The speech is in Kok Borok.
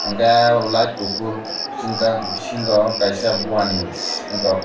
enkke light kufur sungjaak bisingo kaisa bua ni se ero--